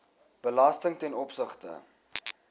belasting ten opsigte